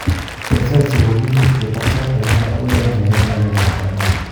En saisiek kogiimuch ketar sait agenge agoi oeng keyoi ngalek ap chomiet.